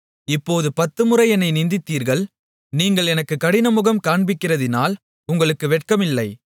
இப்போது பத்துமுறை என்னை நிந்தித்தீர்கள் நீங்கள் எனக்குக் கடினமுகம் காண்பிக்கிறதினால் உங்களுக்கு வெட்கமில்லை